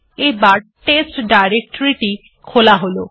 এবার test directory টি খোলা হল